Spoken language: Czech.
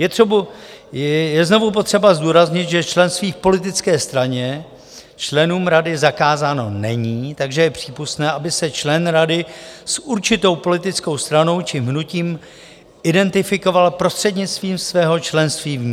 Je znovu potřeba zdůraznit, že členství v politické straně členům rady zakázáno není, takže je přípustné, aby se člen rady s určitou politickou stranou či hnutím identifikoval prostřednictvím svého členství v ní.